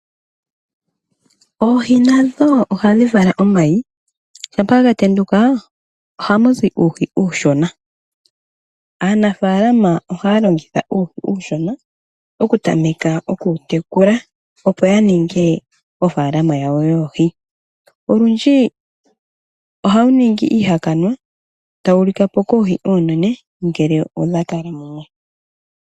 Oohi nadho ohadhi vala omayi shampa dha tendula ohamu zi uuhi uushona. Aanafaalama ohaya longitha uuhi uushona okutameka okuwu tekula opo ya ninge ofaalama yawo . Olundji ohawu ningi iihakanwa tawu lika po koohi oonene ngele odhakala mumwe.